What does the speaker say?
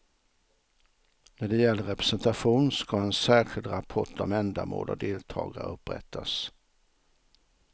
När det gäller representation ska en särskild rapport om ändamål och deltagare upprättas.